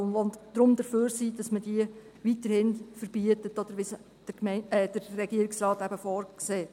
Deshalb sind sie dafür, dass man diese weiterhin verbietet, so wie es der Regierungsrat eben vorsieht.